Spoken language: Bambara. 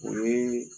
O ye